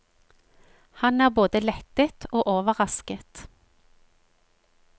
Han er både lettet og overrasket.